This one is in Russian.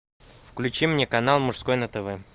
включи мне канал мужской на тв